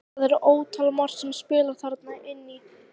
Það er ótal margt sem spilar þarna inn í.